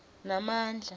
namandla